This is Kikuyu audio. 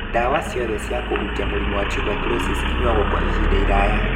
Dawa ciothe cia kũhukia mũrimũ wa tuberculosis inyuagwo kwa ihinda iraya